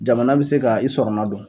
Jamana bi se ka i sɔrɔna don